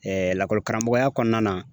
lakɔli karamɔgɔya kɔnɔna na